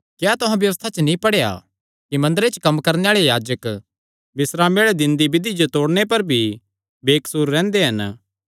क्या तुहां व्यबस्था च नीं पढ़ेया कि मंदरे च कम्म करणे आल़े याजक बिस्रामे आल़े दिने दी बिधि जो तोड़णे पर भी बेकसूर रैंह्दे हन